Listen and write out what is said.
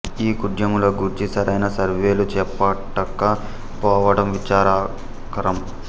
ఈ కుడ్యముల గూర్చి సరైన సర్వేలు చేపట్టక పోవడం విచారకరం